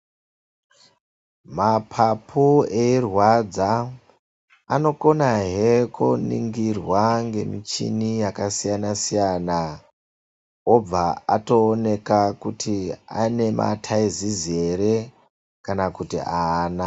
Mapapu eirwadza anokonahe kuningirwa ngemichini yakasiyana-siyana obva atooneka kuti ane mataizizi here kana kuti ahana.